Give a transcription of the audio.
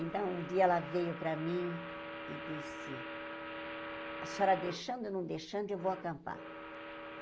Então, um dia ela veio para mim e disse, a senhora deixando ou não deixando, eu vou acampar.